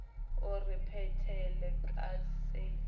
o re phethele ka se